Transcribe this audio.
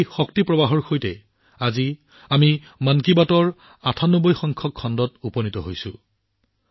এই শক্তি প্ৰবাহৰ সৈতে আগবাঢ়ি আজি আমি মন কী বাতৰ ৯৮তম খণ্ডৰ মাইলপোষ্টত উপনীত হৈছো